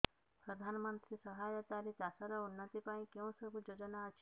ପ୍ରଧାନମନ୍ତ୍ରୀ ସହାୟତା ରେ ଚାଷ ର ଉନ୍ନତି ପାଇଁ କେଉଁ ସବୁ ଯୋଜନା ଅଛି